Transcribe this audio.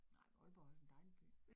Nej, Aalborg er også en dejlig by